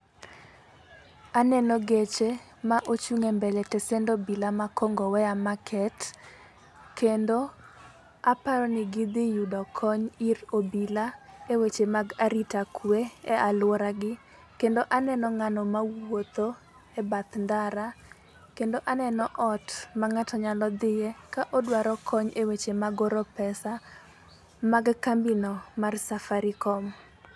Aneno geche ma ochung' embele tesen obila ma Kongowea market, kendo aparo ni gidhi yudo kony ir obila, eweche mag arita kwe e aluoragi. Kendo aneno ng'ano mawuotho e bath ndara, kendo aneno ot ma ng'ato nyalo dhie ka odwaro kony e weche mag oro pesa mag kambi no mar Safaricom.